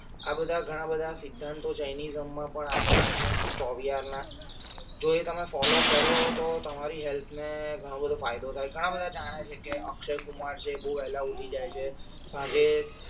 આ બધા ઘણા બધા સિદ્ધાંતો જૈનિઝમમાં પણ આપેલા છે ચોવીયારના જો એ તમે ફોલો કરો તો તમારી હેલ્થને ઘણા બધો ફાયદા થઈ ઘણા બધા જાણે છે કે અક્ષય કુમાર છે બહુ વેળા ઉઠી જાય છે સાંજે